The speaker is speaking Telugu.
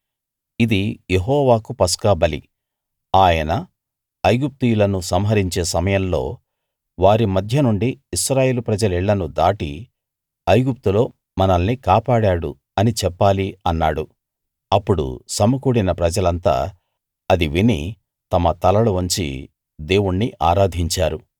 ఇది యెహోవాకు పస్కా బలి ఆయన ఐగుప్తీయులను సంహరించే సమయంలో వారి మధ్య నుండి ఇశ్రాయేలు ప్రజల ఇళ్ళను దాటి ఐగుప్తులో మనల్ని కాపాడాడు అని చెప్పాలి అన్నాడు అప్పుడు సమకూడిన ప్రజలంతా అది విని తమ తలలు వంచి దేవుణ్ణి ఆరాధించారు